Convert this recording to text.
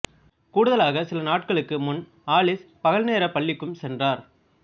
கூடுதலாக சில நாட்களுக்கு முன் ஆலிஸ் பகல் நேரப் பள்ளிக்கும் சென்றார்